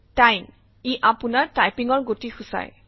time - ই আপোনাৰ টাইপিঙৰ গতি সূচায়